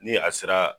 Ni a sera